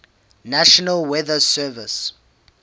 national weather service